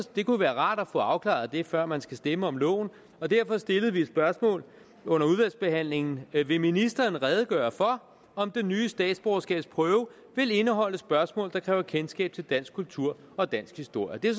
det kunne være rart at få afklaret det før man skal stemme om loven og derfor stillede vi et spørgsmål under udvalgsbehandlingen vil ministeren redegøre for om den nye statsborgerskabsprøve vil indeholde spørgsmål der kræver kendskab til dansk kultur og dansk historie det er